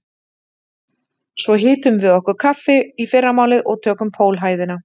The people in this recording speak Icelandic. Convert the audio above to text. Svo hitum við okkur kaffi í fyrramálið og tökum pólhæðina